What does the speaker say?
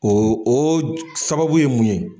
O o sababu ye mun ye